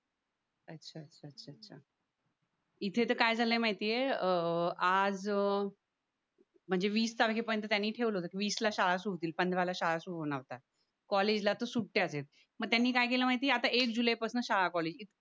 इथे तर काय झालं माहितीये अं आज म्हणजे वीस तारखेपर्यंत त्यांनी ठेवलेल्या वीसला शाळा सोडतील पंधराला शाळा सुरू होणार होत्या कॉलेजला तर सुट्ट्याचं आहेत मग त्यांनी काय केलं माहिती आहे आता एक जुलैपासना शाळा कॉलेजेस